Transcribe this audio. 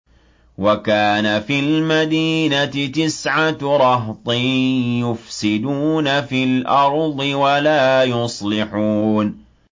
وَكَانَ فِي الْمَدِينَةِ تِسْعَةُ رَهْطٍ يُفْسِدُونَ فِي الْأَرْضِ وَلَا يُصْلِحُونَ